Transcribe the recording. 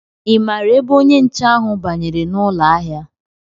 Ị maara ebe onye nche ahụ banyere n'ụlọ ahịa?